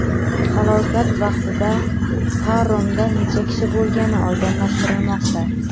Halokat vaqtida paromda necha kishi bo‘lgani oydinlashtirilmoqda.